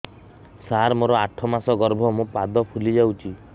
ସାର ମୋର ଆଠ ମାସ ଗର୍ଭ ମୋ ପାଦ ଫୁଲିଯାଉଛି